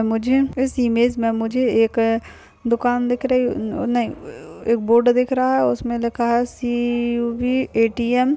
मुझे इस इमेज मे मुझे एक दुकान दिख रही नहीं एक बोर्ड दिख रहा है। उसमे लिखा है सी_बी ए_टी_एम ।